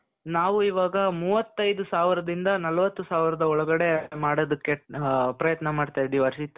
ನಾವು ಇವಾಗ ಮೂವತ್ತೈದು ಸಾವಿರ ದಿಂದ ನಲವತ್ತು ಸಾವಿರದ ಒಳಗಡೆ ಮಾಡೋದಕ್ಕೆ ಪ್ರಯತ್ನ ಮಾಡ್ತಾ ಇದ್ದೀವಿ ಹರ್ಷಿತ್ .